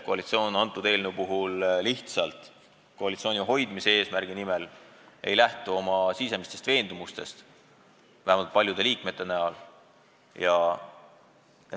Koalitsioon jätab lihtsalt koalitsiooni hoidmise eesmärgil lähtumata oma sisemistest veendumustest, vähemalt võib seda öelda paljude koalitsiooniliikmete kohta.